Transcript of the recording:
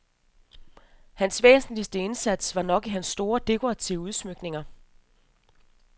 Hans væsentligste indsats nok i hans store dekorative udsmykninger.